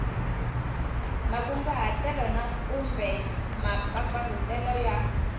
makunguhatelo na kumbe mampfampfarhutelo ya